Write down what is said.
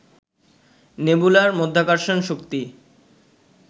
নেবুলার মাধ্যাকর্ষণ শক্তি